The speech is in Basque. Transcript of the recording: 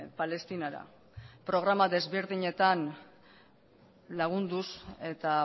palestinara programa ezberdinetan lagunduz eta